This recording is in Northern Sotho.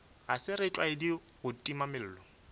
ga se setlwaedi gore timamello